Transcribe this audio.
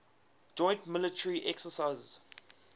joint military exercises